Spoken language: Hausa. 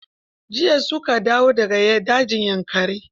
Jiya su ka dawo da ga dajin Yankari.